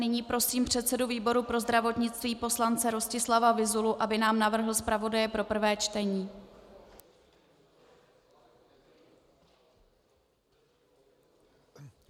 Nyní prosím předsedu výboru pro zdravotnictví poslance Rostislava Vyzulu, aby nám navrhl zpravodaje pro prvé čtení.